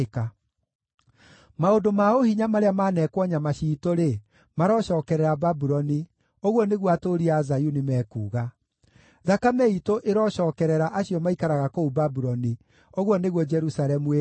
Maũndũ ma ũhinya marĩa maanekwo nyama ciitũ-rĩ, marocookerera Babuloni,” ũguo nĩguo atũũri a Zayuni mekuuga. “Thakame iitũ ĩrocookerera acio maikaraga kũu Babuloni,” ũguo nĩguo Jerusalemu ĩkuuga.